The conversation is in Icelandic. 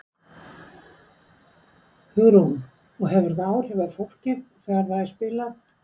Hugrún: Og hefur það áhrif á fólkið þegar það er spilað?